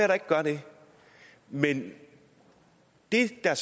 der ikke gør det men det der